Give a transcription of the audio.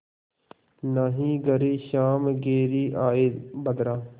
नाहीं घरे श्याम घेरि आये बदरा